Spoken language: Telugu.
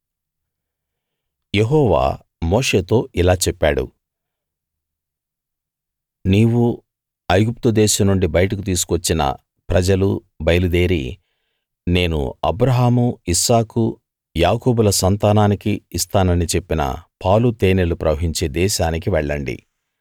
యెహోవా మోషేతో ఇలా చెప్పాడు నీవూ ఐగుప్తు దేశం నుండి బయటకు తీసుకు వచ్చిన ప్రజలూ బయలుదేరి నేను అబ్రాహాము ఇస్సాకు యాకోబుల సంతానానికి ఇస్తానని చెప్పిన పాలు తేనెలు ప్రవహించే దేశానికి వెళ్ళండి